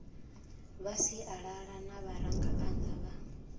vha sialala na vharangaphanda vha